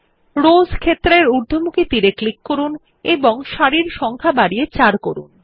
rose ক্ষেত্রের ঊর্ধ্বমুখী তীর এ ক্লিক করুন এবং সারির সংখ্যা বাড়িয়ে ৪ করুন